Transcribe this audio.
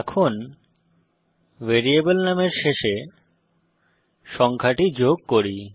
এখন ভ্যারিয়েবল নামের শেষে সংখ্যাটি যোগ করি